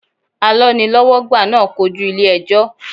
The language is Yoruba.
Alọ́nilọ́wọ́gbà náà kojú ilé ẹjọ́.